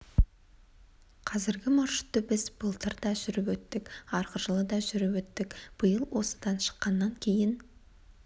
қазіргі маршрутты біз былтыр да жүріп өттік арғы жылы да жүріп өттік биыл осыдан шыққаннан кейін